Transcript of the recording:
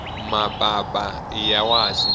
mapapa iya wasi